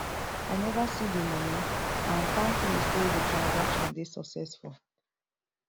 i neva see di money and palmpay say di transcation dey successful